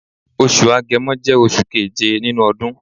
Osù Agẹmọ jẹ́ oṣù keje nínú ọdún.